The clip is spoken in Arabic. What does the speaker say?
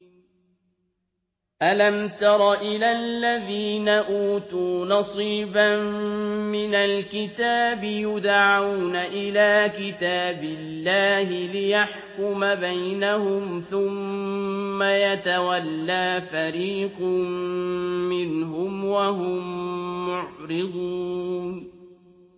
أَلَمْ تَرَ إِلَى الَّذِينَ أُوتُوا نَصِيبًا مِّنَ الْكِتَابِ يُدْعَوْنَ إِلَىٰ كِتَابِ اللَّهِ لِيَحْكُمَ بَيْنَهُمْ ثُمَّ يَتَوَلَّىٰ فَرِيقٌ مِّنْهُمْ وَهُم مُّعْرِضُونَ